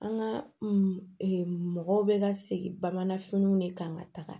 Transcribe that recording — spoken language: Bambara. An ka mɔgɔw bɛ ka segin bamanan finiw de kan ka taga